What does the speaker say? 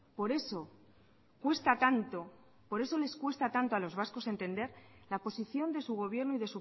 por eso cuesta tanto por eso les cuesta tanto a los vascos entender la posición de su gobierno y